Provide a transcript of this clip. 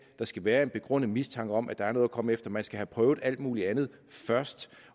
der skal være en begrundet mistanke om at der er noget at komme efter man skal have prøvet alt mulig andet først